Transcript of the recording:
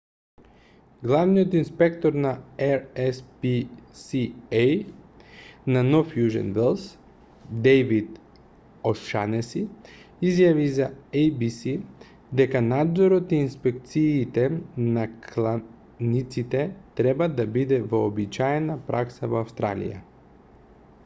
главниот инспектор на rspca на нов јужен велс дејвид ошанеси изјави за еј-би-си дека надзорот и инспекциите на кланиците треба да бидат вообичаена пракса во австралија